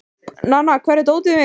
Nanna, hvar er dótið mitt?